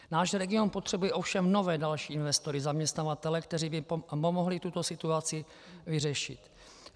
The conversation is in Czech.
Náš region potřebuje ovšem nové, další investory, zaměstnavatele, kteří by pomohli tuto situaci vyřešit.